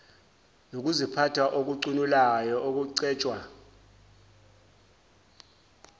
nokuziphatha okucunulayo okucetshwa